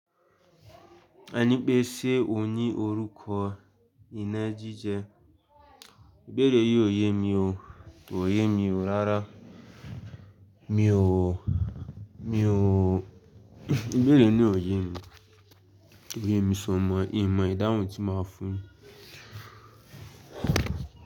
Ẹni pé ṣé ò ní orúkọ ìnagijẹ. Ìbéèrè yìí ò yé mi o, kò yé mi o rárá. Mi ò, mi ò, ìbéèrè yí o ye mi. Kò ye mi so mọ, ihin mọ̀ ìdáhùn tí màá fún.